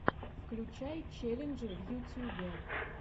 включай челленджи в ютюбе